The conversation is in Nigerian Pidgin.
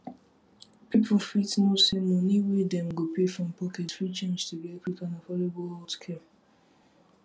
people fit know say money wey dem go pay from pocket fit change to get quick and affordable healthcare